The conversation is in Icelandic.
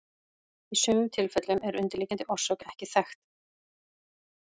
Í sumum tilfellum er undirliggjandi orsök ekki þekkt.